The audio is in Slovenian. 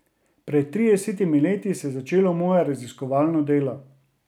Pred tridesetimi leti se je začelo moje raziskovalno delo.